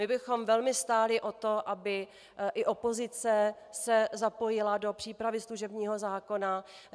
My bychom velmi stáli o to, aby i opozice se zapojila do přípravy služebního zákona.